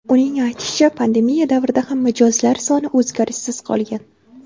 Uning aytishicha, pandemiya davrida ham mijozlar soni o‘zgarishsiz qolgan.